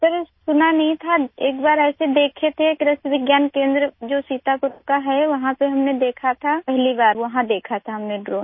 sir सुना नहीं था एक बार ऐसे देखे थे कृषि विज्ञान केंद्र जो सीतापुर का है वहां पे हमने देखा था पहली बार वहाँ देखा था हमने ड्रोन